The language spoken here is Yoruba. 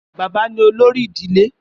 Bàbá ni olórí ìdílé